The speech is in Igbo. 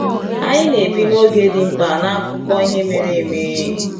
Anyị na-ebi n’oge dị mkpa n’akụkọ ihe mere eme.